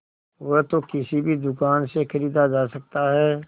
वह तो किसी भी दुकान से खरीदा जा सकता है